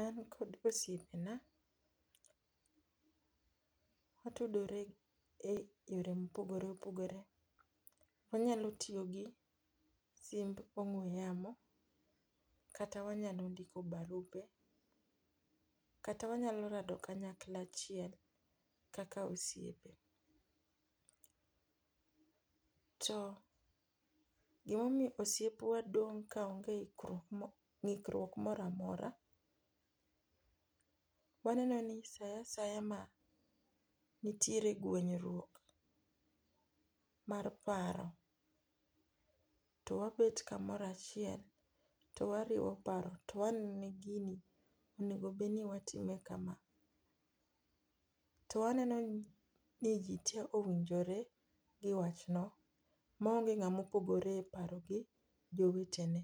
An kod osiepena watudore e yore mopogore opogore. Wanyalo tiyo gi simb ong'we yamo kata wanyalo ndiko barupe. Kata wanyalo rado kanyakla achiel kaka osiepe. To gimomiyo osiepwa dong' ka onge ng'ikruok moro amora waneno ni sa aaya ma nitiere gwenyruok mar paro to wabet kamoro achiel to wariwo paro to waneno ni gini onego bed ni watime kama. To waneno ni ji te owinjore gi wach no ma onge ng'ama opogore e paro gi jowetene.